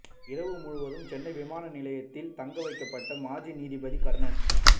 இரவு முழுவதும் சென்னை விமான நிலையத்தில் தங்க வைக்கப்பட்ட மாஜி நீதிபதி கர்ணன்